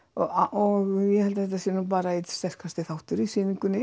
og ég held að þetta sé bara einn sterkasti þátturinn í sýningunni